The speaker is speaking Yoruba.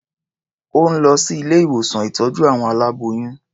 Ó ń lọ sí ilé-ìwòsán ìtọ́jú àwọn aláboyún.